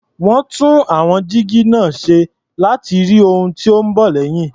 Wọ́n tún àwọn jígí náà ṣe láti rí ohun tó ń bọ̀ lẹ́yìn.